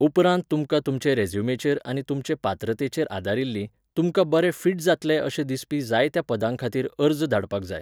उपरांत तुमकां तुमचे रेझ्युमेचेर आनी तुमचे पात्रतेचेर आदारिल्लीं, तुमकां बरे फिट जातले अशें दिसपी जायत्या पदांखातीर अर्ज धाडपाक जाय.